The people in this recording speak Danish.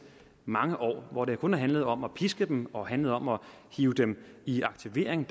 mange år hvor det kun har handlet om at piske dem og handlet om at hive dem i aktivering